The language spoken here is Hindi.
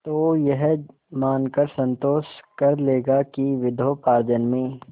तो यह मानकर संतोष कर लेगा कि विद्योपार्जन में